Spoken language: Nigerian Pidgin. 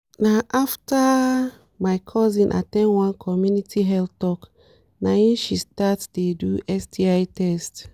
na after my cousin at ten d one community health talk na e she start dey do sti test